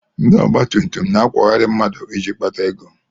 Ndị ọgbatumtum na-akwọgharị mmadụ iji kpata ego.